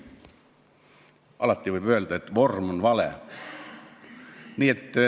Alati võib öelda, et vorm on vale.